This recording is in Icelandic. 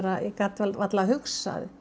gat varla hugsað